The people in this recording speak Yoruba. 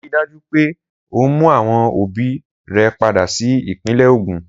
Rii daju pe o mu awọn obi rẹ pada si ipinle Ogun!